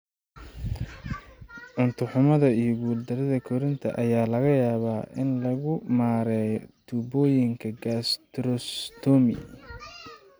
Cunto-xumada iyo guul-darrida korriinka ayaa laga yaabaa in lagu maareeyo tuubooyinka gastrostomy.